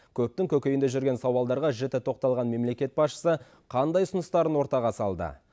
көптің көкейінде жүрген сауалдарға жіті тоқталған мемлекет басшысы қандай ұсыныстарын ортаға салды